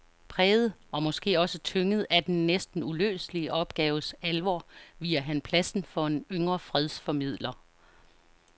Præget og måske også tynget af den næsten uløselige opgaves alvor viger han pladsen for en yngre fredsformidler.